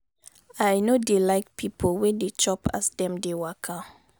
i no dey like pipo wey dey chop as dem dey waka.